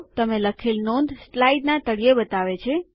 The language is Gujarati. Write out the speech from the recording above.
તમે લખેલ નોંધ સ્લાઇડના તળિયે બતાવે છે